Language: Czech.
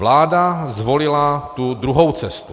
Vláda zvolila tu druhou cestu.